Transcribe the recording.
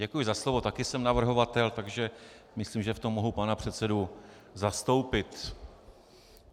Děkuji za slovo, taky jsem navrhovatel, takže myslím, že v tom mohu pana předsedu zastoupit.